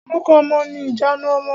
Orúkọ ọmọ ni ìjanu ọmọ.